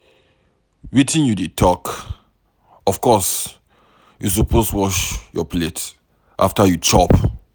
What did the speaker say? Wetin you dey talk. Of course you suppose wash your plate after you chop.